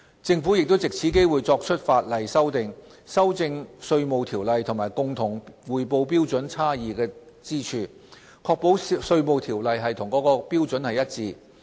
政府亦藉此機會作出法例修訂，修正《稅務條例》與共同匯報標準差異之處，確保《稅務條例》與該標準一致。